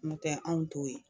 n tɛ anw t'o ye